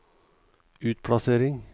utplassering